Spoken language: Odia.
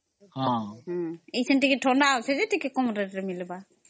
ଏବେ ଟିକେ ଥଣ୍ଡା ଅଛି ଯେ ଟିକେ କମ rate ରେ ମିଳିବ